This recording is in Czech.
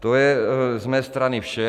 To je z mé strany vše.